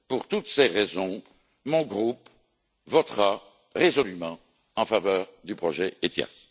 Pour toutes ces raisons, mon groupe votera résolument en faveur du projet ETIAS.